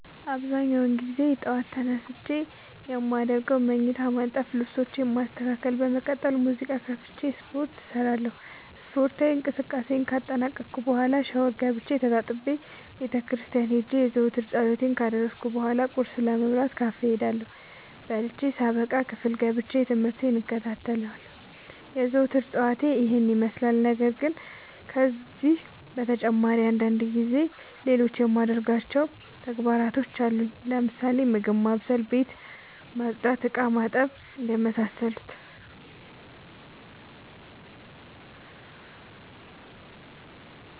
አብዛኛውን ግዜ ጠዎት ተነስቼ የማደርገው መኝታዬን ማነጠፍ ልብሶቼን ማስተካከል በመቀጠልም ሙዚቃ ከፍቼ ስፓርት እሰራለሁ ስፓርታዊ እንቅስቃሴን ካጠናቀቅኩ በኋ ሻውር ገብቼ ተጣጥቤ ቤተክርስቲያን ሄጄ የዘወትር ፀሎቴን ካደረስኩ በሏ ቁርስ ለመብላት ካፌ እሄዳለሁ። በልቼ ሳበቃ ክፍል ገብቼ። ትምህርቴን እከታተላለሁ። የዘወትር ጠዋቴ ይህን ይመስላል። ነገርግን ከነዚህ በተጨማሪ አንዳንድ ጊዜ ሌሎቹ የማደርጋቸው ተግባሮች አሉኝ ለምሳሌ፦ ምግብ ማብሰል፤ ቤት መፅዳት፤ እቃማጠብ የመሳሰሉት።